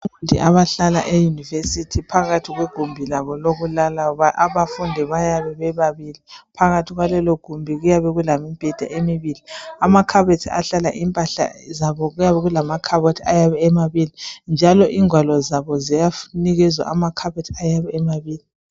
Abafundi abahlala eyunivesithi phakathi kwegumbi labo lokulala. Abafundi bayabe bebabili, phakathi kwalelogumbi kuyabe kulemibheda emibili. Amamakhabothi ahlala impahla zabo, kuyabe kulamakhabothi ayabe emabili njalo ingwalo zabo ziyanikezwa amakhabothi ayabe emabili.